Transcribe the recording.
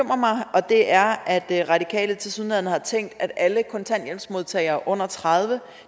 og det er at radikale tilsyneladende har tænkt at alle kontanthjælpsmodtagere under tredive